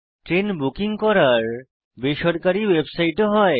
train booking করার বেসরকারী website ও হয়